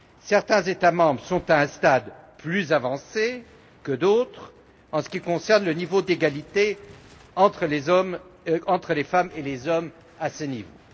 Certains États membres en sont à un stade plus avancé que d'autres en ce qui concerne le niveau d'égalité entre les femmes et les hommes sur ce plan.